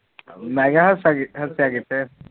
ਮੈ ਕਿਹਾ ਹੱਸਿਆ ਕਿਥੇ